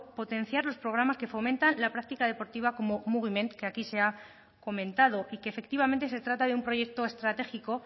potenciar los programas que fomentan la práctica deportiva como mugiment que aquí se ha comentado y que efectivamente se trata de un proyecto estratégico